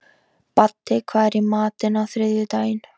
Baddi, hvað er í matinn á þriðjudaginn?